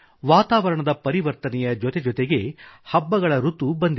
ವಾತಾವರಣದ ಪರಿವರ್ತನೆಯ ಜೊತೆಜೊತೆಗೇ ಹಬ್ಬಗಳ ಋತು ಬಂದಿದೆ